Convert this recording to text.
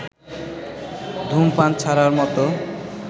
ধূমপান ছাড়ার মতো